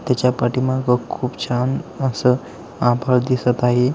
त्याच्या पाठीमागखूप छान अस आभाळ दिसत आहे.